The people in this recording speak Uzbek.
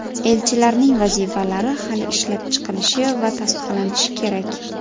Elchilarning vazifalari hali ishlab chiqilishi va tasdiqlanishi kerak.